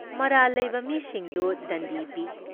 ꯃꯔꯥꯜ ꯂꯩꯕ ꯃꯤꯁꯤꯡꯗꯨ ꯗꯟꯗꯤ ꯄꯤ ꯫